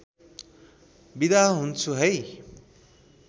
बिदा हुन्छु है